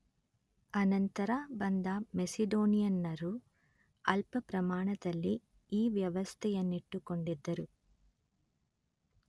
ಅನಂತರ ಬಂದ ಮೆಸಿಡೋನಿಯನ್ನರೂ ಅಲ್ಪಪ್ರಮಾಣದಲ್ಲಿ ಈ ವ್ಯವಸ್ಥೆಯನ್ನಿಟ್ಟುಕೊಂಡಿದ್ದರು